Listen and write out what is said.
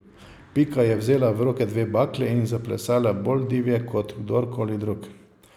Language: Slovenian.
Pika je vzela v roke dve bakli in zaplesala bolj divje kot kdorkoli drug.